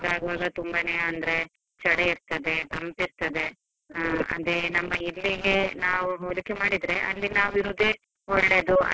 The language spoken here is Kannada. ಬೆಳಗ್ಗೆ ಆಗುವಾಗ ತುಂಬಾನೇ ಅಂದ್ರೆ ಚಳಿ ಇರ್ತದೆ, ತಂಪಿರ್ತದೆ, ಅದೇ ನಮ್ಮ ಇಲ್ಲಿಗೆ ನಾವ್ ಹೋಲಿಕೆ ಮಾಡಿದ್ರೆ ಅಲ್ಲಿ ನಾವಿರೋದೆ ಒಳ್ಳೆದು.